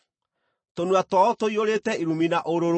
“Tũnua twao tũiyũrĩte irumi na ũrũrũ.”